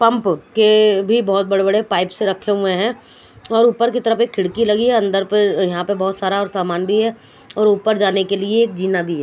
Pump के भी बहुत बड़े बड़े पाइप्स रखे हुए हैं और ऊपर की तरफ एक खिड़की लगी है अंदर के यहां पर बहुत सारा सामान भी है और ऊपर जाने के लिए जीना भी है।